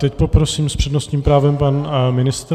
Teď poprosím, s přednostním právem pan ministr.